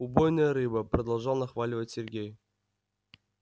убойная рыба продолжал нахваливать сергей